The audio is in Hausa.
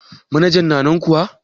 Manajan na nan kuwa?